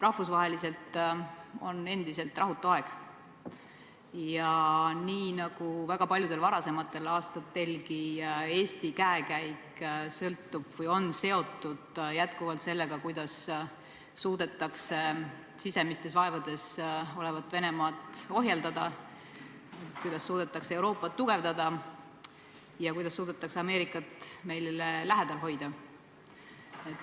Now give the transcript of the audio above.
Rahvusvaheliselt on endiselt rahutu aeg ja nii nagu väga paljudel varasematel aastatelgi Eesti käekäik on jätkuvalt seotud sellega, kuidas suudetakse sisemistes vaevades olevat Venemaad ohjeldada, kuidas suudetakse Euroopat tugevdada ja kuidas suudetakse Ameerikat meile lähedal hoida.